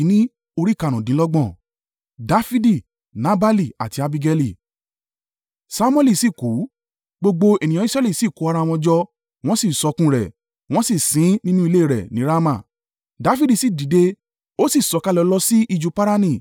Samuẹli sì kú; gbogbo ènìyàn Israẹli sì kó ara wọn jọ, wọ́n sì sọkún rẹ̀ wọ́n sì sin ín nínú ilé rẹ̀ ní Rama. Dafidi sì dìde, ó sì sọ̀kalẹ̀ lọ sí ijù Parani.